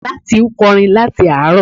Nátì ń kọrin láti àárọ̀